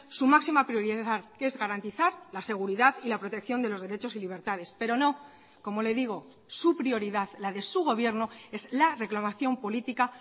su máxima prioridad que es garantizar la seguridad y la protección de los derechos y libertades pero no como le digo su prioridad la de su gobierno es la reclamación política